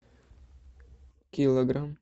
килограмм